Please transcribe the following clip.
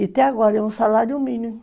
E até agora é um salário mínimo.